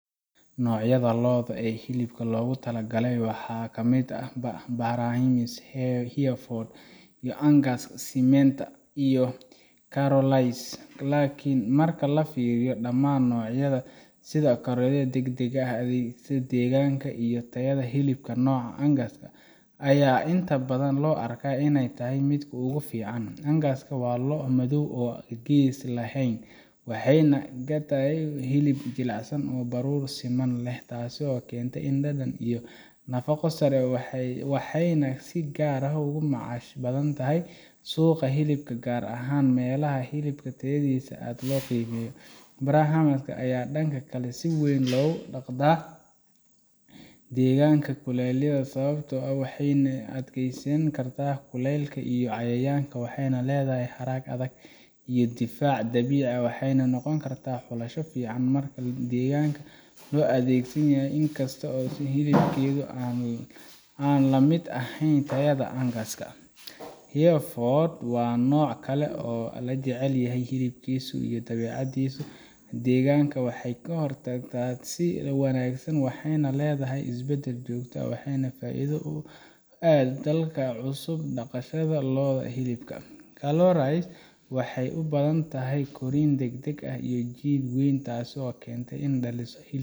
noocyada lo’da hilibka loogu tala galay waxaa ka mid ah Brahman, Hereford, Angus, Simmental, iyo Charolais laakiin marka la fiiriyo dhammaan dhinacyada sida kororka degdegga ah, adkeysiga deegaanka, iyo tayada hilibka, nooca Angus ayaa inta badan loo arkaa inuu yahay midka ugu fiican Angus waa lo’ madow oo aan gees lahayn waxayna caan ku tahay hilib jilicsan oo baruur siman leh taasoo keenta dhadhan iyo nafaqo sare waxayna si gaar ah uga macaash badan tahay suuqa hilibka gaar ahaan meelaha hilibka tayadiisa aad loo qiimeeyo Brahman ayaa dhanka kale si weyn loogu dhaqda deegaanada kulaylaha sababtoo ah waxay u adkeysan kartaa kuleylka iyo cayayaanka waxay leedahay harag adag iyo difaac dabiici ah waxayna noqon kartaa xulasho fiican marka deegaanka uu adag yahay inkasta oo hilibkeeda aan la mid ahayn tayada Angus Hereford waa nooc kale oo la jecel yahay hilibkiisa iyo dabeecaddiisa degan waxay korodhsataa si wanaagsan waxayna leedahay isbeddel joogto ah waxaana faa’iido u ah dadka ku cusub dhaqashada lo’da hilibka Charolais waxay u badan tahay korriin degdeg ah iyo jidh weyn taasoo keenta in ay dhaliso hilib